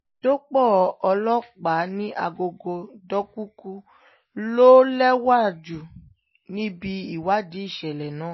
dópò ọlọ́pàá ní àgọ́ dkuku lọ léwájú níbi ìwádìí ìṣẹ̀lẹ̀ náà